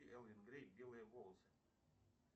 элвин грей белые волосы